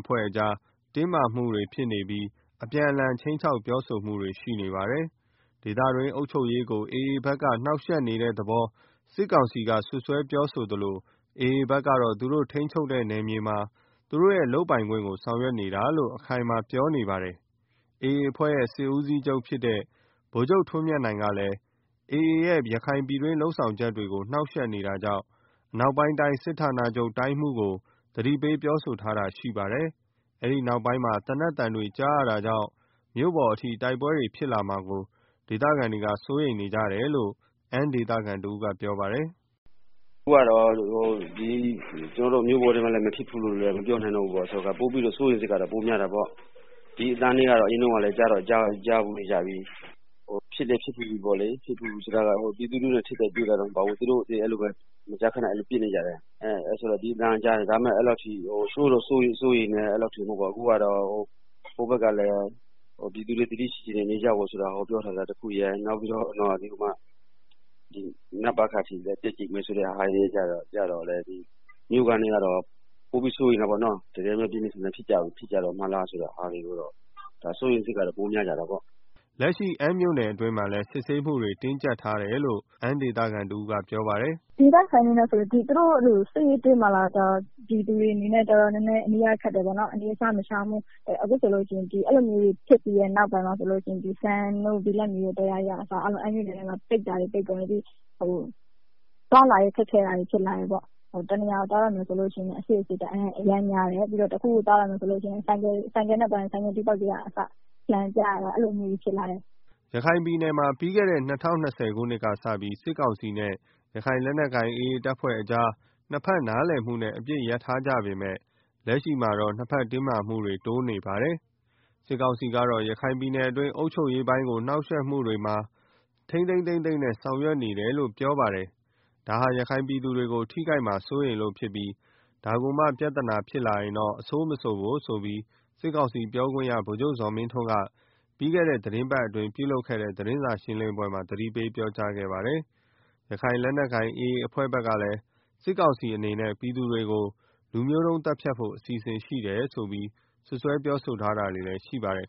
အဖွဲ့တို့ကြား ဆက်ဆံရေးတင်းမာပြီး အပြန်အလှန်ခြိမ်း ခြောက်ပြောဆိုမှုတွေရှိနေပါတယ်။ ဒေသတွင်းအုပ်ချုပ်ရေးကို AA ဘက်က နှောင့်ယှက်နေတဲ့သဘော စစ်ကောင်စီက စွပ်စွဲပြောသလို AA ဘက်ကတော့ သူတို့ထိန်းချုပ်တဲ့နယ်မြေမှာ သူတို့ရဲ့လုပ်ပိုင်ခွင့်ကို ဆောင်ရွက်တာလို့ အခိုင်အမာပြော နေပါတယ်။ AA အဖွဲ့ရဲ့စစ်ဦးစီးချုပ် ဗိုလ်ချုပ်ထွန်းမြတ်နိုင်ကလည်း AA ရဲ့ ရခိုင်ပြည်တွင်း လုပ်ဆောင် ချက်တွေကို နှောင့်ယှက်နေတာကြောင့် အနောက်ပိုင်းတိုင်းစစ်ဌာချုပ် တိုင်းမှူးကို သတိပေးပြောဆိုထားတာလည်းရှိပါတယ်။ အဲဒီနောက်ပိုင်း သေနတ်သံတွေ ကြားရတာကြောင့် မြို့ပေါ်အထိ တိုက်ပွဲဖြစ်လာမှာကို ဒေသခံတွေက စိုးရိမ်နေကြတာဖြစ်တယ်လို့ အမ်းဒေသခံတဦးကပြောပါတယ်။ “အခုက ကျနော်တို့ မြို့ပေါ်တွေမှာလည်း မဖြစ်ဘူးလို့ ပြောလို့မရတော့ စိုးရိမ်စိတ်ကတော့ ပိုများတာပေါ့၊ ဒီအသံကတော့ အရင်တုန်းကလည်း ကြားတော့ ကြားဖုူးနေကြပြီ၊ ဖြစ်လည်း ဖြစ်ပြီးပြီ။ ဖြစ်ဖူးတယ်ဆိုတာက ပြည်သူလူထုနဲ့ ထိပ်တိုက်တွေ့တာတော့မဟုတ်ပါဘူး။ သူတို့မကြာခဏ ပစ်လည်းပစ်နေကြတယ်။ ဒါပေမယ့် အဲလောက်ထိ မစိုးရိမ်ကြဘူး။ အခုက ဟိုဘက်ကလည်း ပြည်သူတွေ သတိရှိရှိနေကြဖို့ ပြောထားတာ တခုရယ်၊ နောက်ပြီးတော့ နပခအထိ တက်ကြိတ်မယ်ဆိုတဲ့ဟာကျတော့ မြို့ခံတွေကတော့ ပိုပြီး စိုးရိမ်တာ ပေါ့နော်၊ တကယ်ပြင်းပြင်းထန် ထန်ဖြစ်ကြတော့ မလားဆိုပြီးစိုးရိမ်စိတ်က တော့ ပိုများတာ ပါ့။” လက်ရှိမှာလည်း အမ်းမြို့နယ်အတွင်းမှာ စစ်ဆေးမှုတွေ တင်းကြပ်ထားတယ်လို့လည်း အမ်းဒေသခံတဦးကပြောပါတယ်။ “သူတို့စစ်ရေး တင်းမာနေတဲ့အခါကျတော့ ပြည်သူတွေအနေနဲ့ နေရခက်တယ်၊ အနေအစားမရှောင်ဘူး၊ အခုဆိုလို့ရှိရင်အဲလို ဖြစ်ပြီးတဲ့နောက် အမ်းမြို့နယ်တွေထဲမှာ ဆိုလို့ရှိရင် ဆန်ဆိုင်တို့ ဘိလပ်မြေဆိုင်တို့ ပိတ်တာတွေရှိတယ်၊ သွားလာရေးခက်ခဲတာတွေဖြစ်လာတယ်၊ တနေရာကို သွားတော့မယ်ဆိုလို့ရှိရင် အစစ်အဆေးအရမ်းများတယ်။ ဆိုင်ကယ်နဲ့ သွားရင် ဆိုက်ကယ် ဘောက်တွေကို လှန်ပြရတာမျိုးတွေအထိရှိတယ်” ရခိုင်ပြည်နယ်မှာ ပြီးခဲ့တဲ့ ၂၀၂၀ခုနှစ်ကစပြီး စစ်ကောင်စီနဲ့ ရခိုင်လက်နက်ကိုင် AA အဖွဲ့ တို့ကြား နှစ်ဖက်နားလည်မှုနဲ့ အပစ်ရပ်ထားကြပေမယ့် လက်ရှိမှာတော့ နှစ်ဖက်ကြားတင်းမာမှုတွေ တိုးလာနေပါတယ်။ စစ်ကောင်စီကတော့ ရခိုင်ပြည်နယ်အတွင်းအုပ်ချုပ်ရေးပိုင်းနှောင့်ယှက်မှုတွေကို ထိမ်းထိမ်းသိမ်းသိမ်းနဲ့ဆောင်ရွက်နေတယ်လို့ ပြောနေပါတယ်။ ဒါဟာ ရခိုင်ပြည်သူတွေ ထိခိုက်မှာ စိုးရိမ် လို့ဖြစ်ပြီး ဒါကိုမှ ပြဿနာတရပ်ဖြစ်လာရင်တော့ အဆိုးမဆိုဖို့ဆိုပြီး စစ်ကောင်စီ ပြောခွင့်ရသူ ဗိုလ်ချုပ်ဇော်မင်းထွန်းက ပြီးခဲ့တဲ့ သီတင်းပတ်အတွင်းပြုလုပ်ခဲ့တဲ့ သတင်းစာရှင်းလင်းပွဲမှာ သတိပေး ပြောကြားခဲ့ပါတယ်။ ရခိုင်လက်နက်ကိုင် AA အဖွဲ့ဘက်လည်း စစ်ကောင်စီအနေနဲ့ ပြည်သူတွေကို လူမျိုးတုန်း သတ်ဖြတ်ဖို့ အစီစဉ်ရှိတယ်လို့ စွပ်စွဲပြောဆိုထားတွေလည်း ရှိပါတယ်